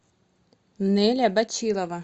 нэля бачилова